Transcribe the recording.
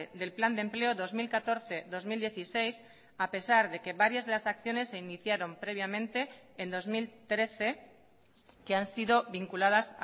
del plan de empleo dos mil catorce dos mil dieciséis a pesar de que varias de las acciones se iniciaron previamente en dos mil trece que han sido vinculadas